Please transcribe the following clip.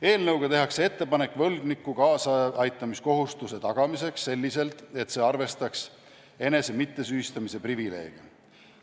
Eelnõuga tehakse ettepanek võlgniku kaasaaitamiskohustuse tagamiseks selliselt, et see arvestaks enese mittesüüstamise privileege.